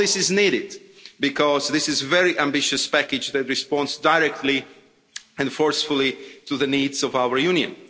All this is needed, because this is a very ambitious package that responds directly and forcefully to the needs of our Union.